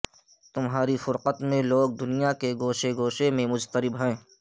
تمہاری فرقت میں لوگ دنیا کے گوشے گوشے میں مضطرب ہیں